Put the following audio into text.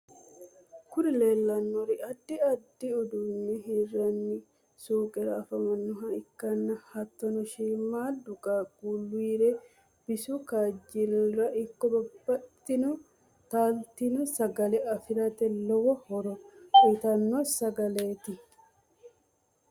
kuri leellannori addi addi uduunne hirranni suuqara anfanniha ikkanna hattonni shiimaddu qaqqulira bisu kaajilira ikko babbaxxitino taaltino sagale afirate lowo horo uyitanno sagaleti.